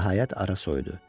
Nəhayət ara soyudu.